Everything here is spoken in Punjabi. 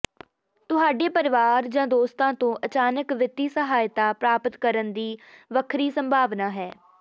ਤੁਹਾਡੇ ਪਰਿਵਾਰ ਜਾਂ ਦੋਸਤਾਂ ਤੋਂ ਅਚਾਨਕ ਵਿੱਤੀ ਸਹਾਇਤਾ ਪ੍ਰਾਪਤ ਕਰਨ ਦੀ ਵੱਖਰੀ ਸੰਭਾਵਨਾ ਹੈ